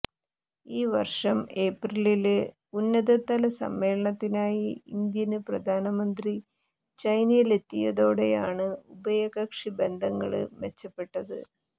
ഈ വര്ഷം ഏപ്രിലില് ഉന്നതതല സമ്മേളനത്തിനായി ഇന്ത്യന് പ്രധാനമന്ത്രി ചൈനയിലെത്തിയതോടെയാണ് ഉഭയകക്ഷി ബന്ധങ്ങള് മെച്ചപ്പെട്ടത്